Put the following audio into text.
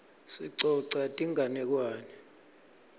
sicoca tinganekwane